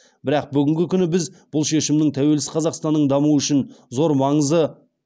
бірақ бүгінгі күні біз бұл шешімнің тәуелсіз қазақстанның дамуы үшін зор маңызы